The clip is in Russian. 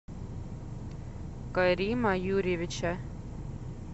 карима юрьевича